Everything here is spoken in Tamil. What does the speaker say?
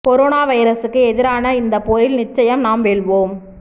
கொரோனா வைரஸுக்கு எதிரான இந்தப் போரில் நிச்சயம் நாம் வெல்வோம்